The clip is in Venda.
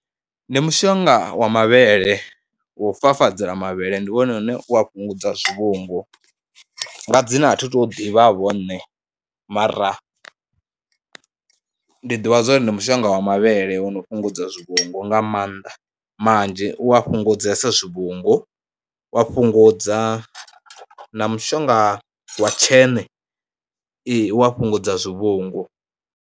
Ndi mushonga wa mavhele wo fafadzela mavhele, ndi wone une wa fhungudza zwivhungu. Nga dzina athi tu ḓivhavho ṋne mara ndi ḓivha zwa uri ndi mushonga wa mavhele wo no fhungudza zwivhungu nga maanḓa manzhi. U a fhungudzea zwivhungu, wa fhungudza na mushonga wa tsheṋe, ee u ya fhungudza zwivhungu.